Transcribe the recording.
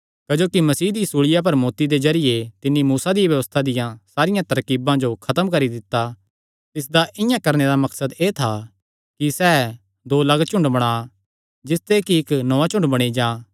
क्जोकि मसीह दी सूल़िया पर मौत्ती दे जरिये तिन्नी मूसा दिया व्यबस्था दियां सारियां तरकीबां जो खत्म करी दित्ता तिसदा इआं करणे मकसद एह़ था कि सैह़ दो लग्गलग्ग झुंड बणा जिसते कि इक्क नौआं झुंड बणी जां कने तिस च मिल्ली जां